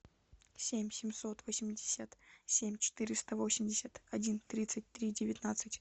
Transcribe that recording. семь семьсот восемьдесят семь четыреста восемьдесят один тридцать три девятнадцать